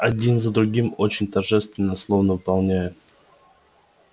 один за другим очень торжественно словно выполняя